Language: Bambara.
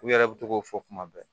U yɛrɛ bɛ to k'o fɔ kuma bɛɛ